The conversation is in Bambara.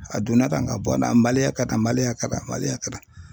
A donna tan ka bɔ tan kɛ tan kɛ tan kɛ tan.